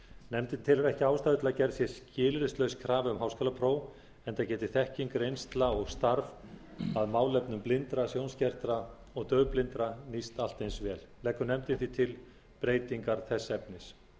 nefndin telur ekki ástæðu til að gerð sé skilyrðislaus krafa um háskólapróf enda geti þekking reynsla og starf að málefnum blindra sjónskertra og daufblindra nýst allt eins vel leggur nefndin því til breytingar þess efnis